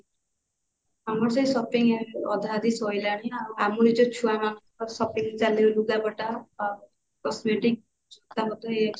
ଆମର ସେଇ shopping ଅଧାଅଧି ସଇଲାଣି ଆଉ ଛୁଆ ମାନଙ୍କର shopping ଚାଲିବ ଲୁଗାପଟା ଆଉ cosmetic ତାଙ୍କର ତ